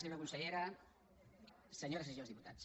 senyora consellera senyores i senyors diputats